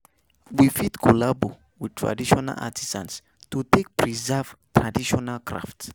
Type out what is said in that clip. We fit collabo with traditional artisans to take preserve traditional craft